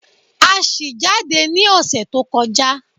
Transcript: A ṣì jáde ní ọ̀sẹ̀ tó kọjá